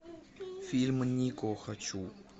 фильм нико хочу